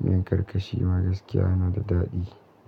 Miyan karkashi ma gaskiya yana da daɗi.